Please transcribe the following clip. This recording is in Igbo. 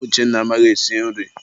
Mba, nwa Uchenna amaghị esi nri.